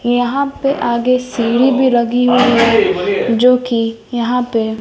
यहां पे आगे सीढ़ी भी लगी हुई हैं जो कि यहां पे--